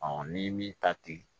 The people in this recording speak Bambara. ni min ta ten